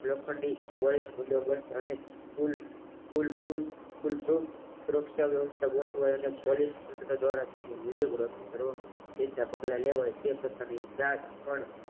લોખંડની પોલીસ બંદોબસ્ત સુરક્ષા વ્યવસ્થા ગોઠવાઈ અને પોલીસોવાળા તેની ફોટોગ્રાફી કરવા કેવી રીતના પગલાં લેવા